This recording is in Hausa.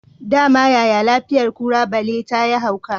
Dama yaya lafiyar kura balle tayi hauka